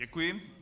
Děkuji.